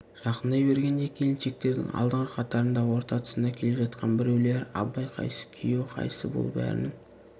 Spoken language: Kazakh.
жақындай бергенде келіншектердің алдыңғы қатарында орта тұсында келе жатқан біреулері абай қайсы күйеу қайсы бұл бәрінің